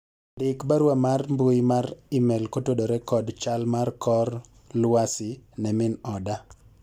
ndik barua mar mbui mar email kotudore kod chal mar kor lwasi ne mi oda